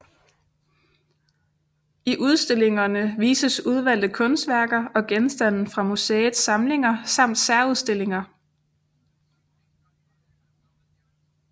I udstillingerne vises udvalgte kunstværker og genstande fra museets samlinger samt særudstillinger